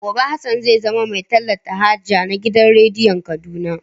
Gobe Hassan zai zama mai talata haja na gidan rediyon Kaduna.